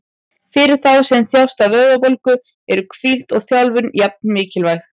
Fyrir þá sem þjást af vöðvabólgu eru hvíld og þjálfun jafn mikilvæg.